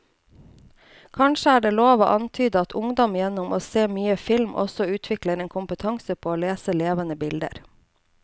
Kanskje er det lov å antyde at ungdom gjennom å se mye film også utvikler en kompetanse på å lese levende bilder.